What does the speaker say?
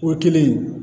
O kɛlen